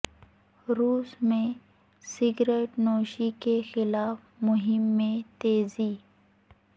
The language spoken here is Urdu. روس میں سگریٹ نوشی کے خلاف مہم میں تیزی